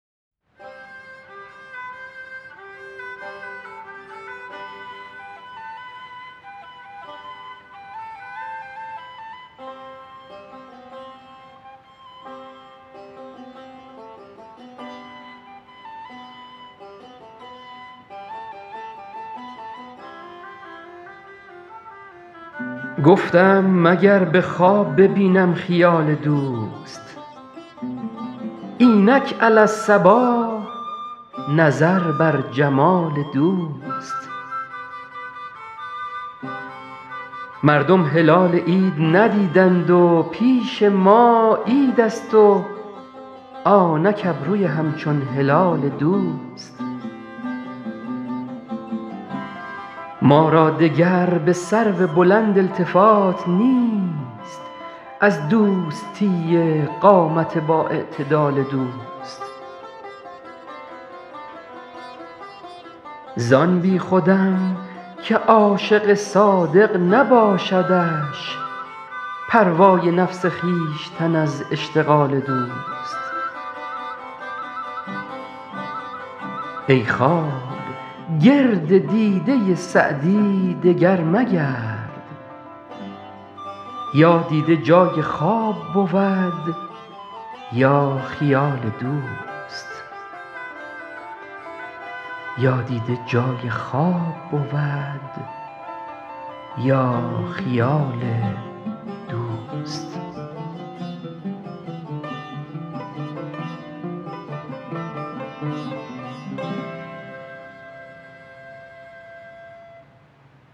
گفتم مگر به خواب ببینم خیال دوست اینک علی الصباح نظر بر جمال دوست مردم هلال عید ندیدند و پیش ما عیدست و آنک ابروی همچون هلال دوست ما را دگر به سرو بلند التفات نیست از دوستی قامت بااعتدال دوست زان بیخودم که عاشق صادق نباشدش پروای نفس خویشتن از اشتغال دوست ای خواب گرد دیده سعدی دگر مگرد یا دیده جای خواب بود یا خیال دوست